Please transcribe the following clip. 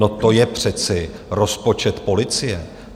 No to je přece rozpočet policie!